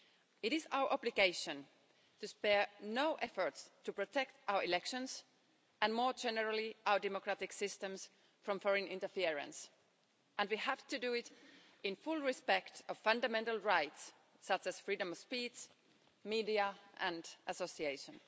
It is our obligation to spare no effort to protect our elections and more generally our democratic systems from foreign interference, and we have to do it in full respect of fundamental rights such as freedom of speech, the media and association.